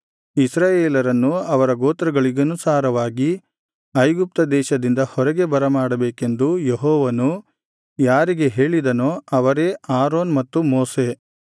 ಇಸ್ರಾಯೇಲರನ್ನು ಅವರ ಗೋತ್ರಗಳಿಗನುಸಾರವಾಗಿ ಐಗುಪ್ತದೇಶದಿಂದ ಹೊರಗೆ ಬರಮಾಡಬೇಕೆಂದು ಯೆಹೋವನು ಯಾರಿಗೆ ಹೇಳಿದನೋ ಅವರೇ ಆರೋನ್ ಮತ್ತು ಮೋಶೆ